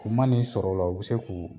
U ma n'i sɔrɔ o la u bi se k'u.